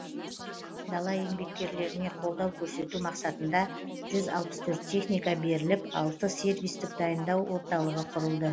дала еңбеккерлеріне қолдау көрсету мақсатында жүз алпыс төрт техника беріліп алты сервистік дайындау орталығы құрылды